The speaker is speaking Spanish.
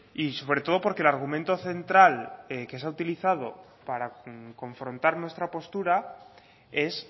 y sobre todo porque el argumento central que se ha utilizado para confrontar nuestra postura es